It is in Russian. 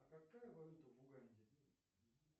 а какая валюта в уганде